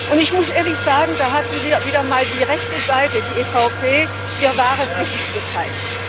Und ich muss ehrlich sagen, da hat wieder mal die rechte Seite, die EVP, ihr wahres Gesicht gezeigt.